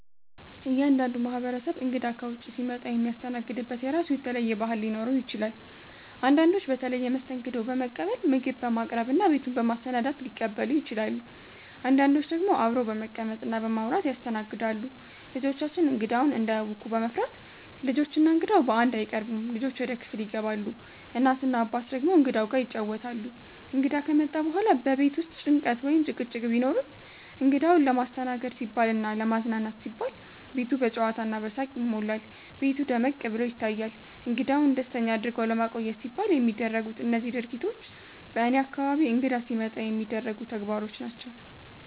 እያንዳንዱ ማህበረሰብ እንግዳ ከውጭ ሲመጣ የሚያስተናግድበት የራሱ የተለየ ባህል ሊኖረው ይችላል። አንዳንዶች በተለየ መስተንግዶ በመቀበል፣ ምግብ በማቅረብ እና ቤቱን በማሰናዳት ሊቀበሉ ይችላሉ። አንዳንዶች ደግሞ አብረው በመቀመጥ እና በማውራት ያስተናግዳሉ። ልጆቻችን እንግዳውን እንዳያውኩ በመፍራት፣ ልጆች እና እንግዳው በአንድ አይቀርቡም፤ ልጆች ወደ ክፍል ይገባሉ፣ እናት እና አባት ደግሞ እንግዳው ጋር ይጫወታሉ። እንግዳ ከመጣ በኋላ በቤት ውስጥ ጭንቀት ወይም ጭቅጭቅ ቢኖርም፣ እንግዳውን ለማስተናገድ ሲባልና ለማዝናናት ሲባል ቤቱ በጨዋታ እና በሳቅ ይሞላል፤ ቤቱ ደመቅ ብሎ ይታያል። እንግዳውን ደስተኛ አድርጎ ለማቆየት ሲባል የሚደረጉት እነዚህ ድርጊቶች በእኔ አካባቢ እንግዳ ሲመጣ የሚደረጉ ተግባሮች ናቸው።